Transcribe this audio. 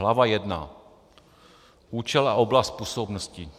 Hlava I. Účel a oblast působnosti.